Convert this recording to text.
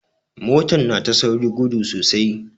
Motar na ta saurin gudu sosai.